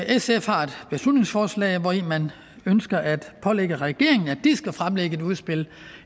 sf har et beslutningsforslag hvor man ønsker at pålægge regeringen at fremlægge et udspil